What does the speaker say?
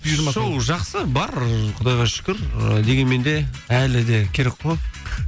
шоу жақсы бар құдайға шүкір ы дегенмен де әлі де керек қой